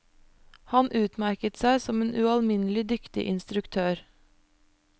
Han utmerket seg som en ualminnelig dyktig instruktør.